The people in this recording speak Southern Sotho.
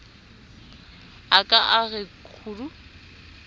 a ka a re khuu